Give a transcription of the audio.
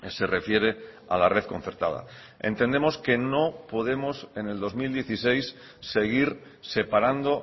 se refiere a la red concertada entendemos que no podemos en el dos mil dieciséis seguir separando